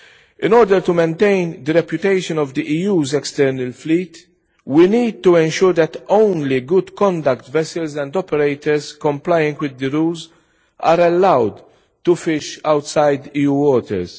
In order to maintain the reputation of the EU's external fleet, we need to ensure that only good conduct vessels and operators complying with the rules are allowed to fish outside EU waters.